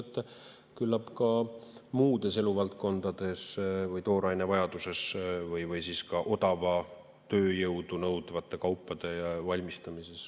Küllap ka muudes eluvaldkondades või tooraine vajaduses või siis ka odavat tööjõudu nõudvate kaupade valmistamises.